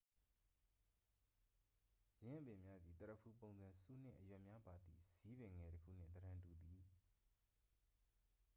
ယင်းအပင်များသည် သရဖူပုံစံ ဆူးနှင့် အရွက် များပါသည့် ဇီးပင်ငယ်တစ်ခုနှင့် သဏ္ဍန်တူသည်